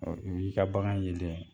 n'i ka bagan yelen